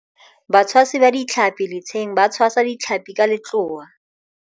batshwasi ba ditlhapi letsheng ba tshwasa ditlhapi ka letloa